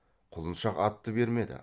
құлыншақ атты бермеді